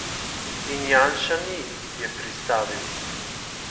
In Janša ni, je pristavil.